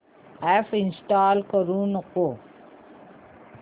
app uninstall करू नको